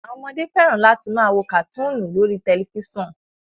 Àwọn ọmọdé fẹ́ràn láti máa wo kàtúùnù lórí tẹ̀lifísàn